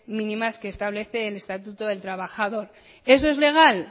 mínimas que establece el estatuto del trabajador eso es legal